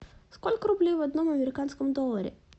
сколько рублей в одном американском долларе